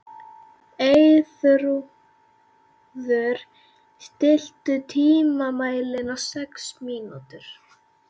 Eyþrúður, stilltu tímamælinn á sex mínútur.